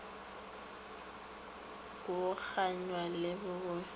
go kganya le bobotse le